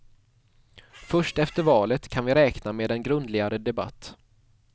Först efter valet kan vi räkna med en grundligare debatt.